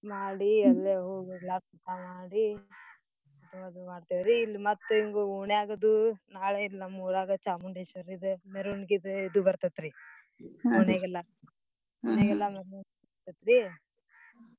ಮಾಡಿ ಅಲ್ಲೇ ಹೋಗಿ ಎಲ್ಲಾ ಊಟಾ ಮಾಡಿ ಇಲ್ಲಿ ಮತ್ ಹಿಂಗ ಓಣ್ಯಾಗ ಅದು ನಾಳೇ ನಮ್ ಊರಾಗ ಚಾಮುಂಡೇಶ್ವರೀದ್ ಮೇರ್ವಣ್ಗಿದ ಇದ್ ಬರ್ತೆತ್ರೀ ಬರ್ತೆತ್ರೀ .